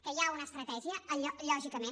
que hi ha una estratègia lògicament